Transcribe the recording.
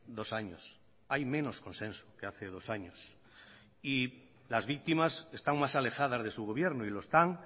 dos años hay menos consenso que hace dos años y las víctimas están más alejadas de su gobierno y lo están